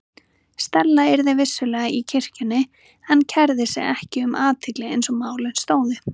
Stella yrði vissulega í kirkjunni en kærði sig ekki um athygli eins og málin stóðu.